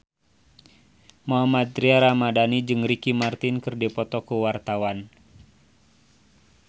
Mohammad Tria Ramadhani jeung Ricky Martin keur dipoto ku wartawan